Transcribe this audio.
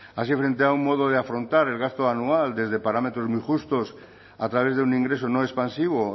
así frente a un modo de afrontar el gasto anual desde parámetros muy justos a través de un ingreso no expansivo